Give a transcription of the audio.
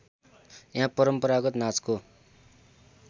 यहाँ परम्परागत नाचको